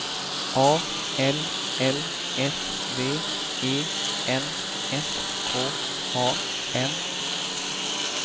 A L L S V E N S K A N